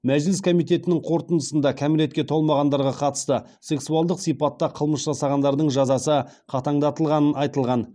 мәжіліс комитетінің қорытындысында кәмелетке толмағандарға қатысты сексуалдық сипатта қылмыс жасағандардың жазасы қатаңдатылғанын айтылған